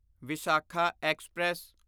Visakha express